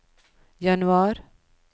januar